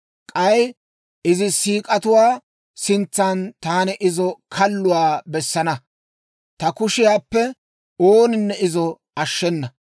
K'ay izi siik'atuwaa sintsan taani izi kalluwaa bessana; ta kushiyaappe ooninne izo ashshenna.